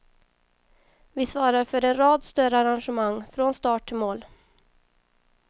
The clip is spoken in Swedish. Vi svarar för en rad större arrangemang, från start till mål.